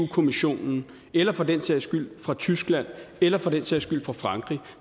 kommissionen eller for den sags skyld fra tyskland eller for den sags skyld fra frankrig